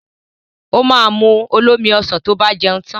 Ó ma mu olómi ọsàn tó bá jẹun tan